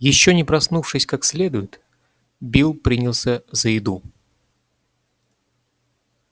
ещё не проснувшись как следует билл принялся за еду